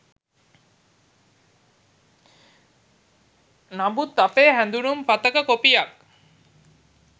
නමුත් අපේ හැඳුනුම් පතක කොපියක්